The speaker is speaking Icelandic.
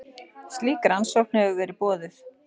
Slík rannsókn hefur verið boðuð